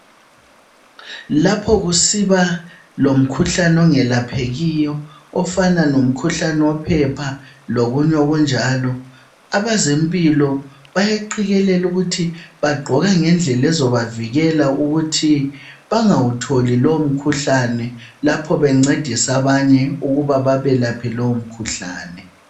Lapha kusiba lomkhuhlane ongelaphekiyo ofana lomkhuhlane wophepha lokunye okunjalo abezempilo bayagqikelela ukuthi bagqoka ngendlela ezobavikela ukuthi bangawutholi lowo mkhuhlane lapho bencedisa abanye ukuba babelaphe lowu mkhuhlane.